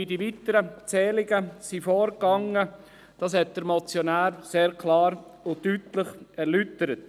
Wie die weiteren Zählungen gemacht wurden, hat der Motionär sehr klar und deutlich erläutert.